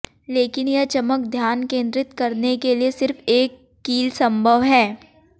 लेकिन यह चमक ध्यान केंद्रित करने के लिए सिर्फ एक कील संभव है